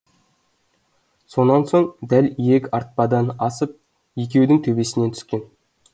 сонан соң дәл иек артпадан асып екеудің төбесінен түскен